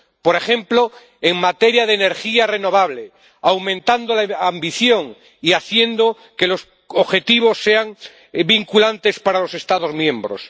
Por ejemplo, en materia de energía renovable, aumentando la ambición y haciendo que los objetivos sean vinculantes para los Estados miembros.